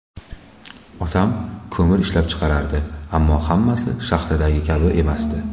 Otam ko‘mir ishlab chiqarardi, ammo hammasi shaxtadagi kabi emasdi.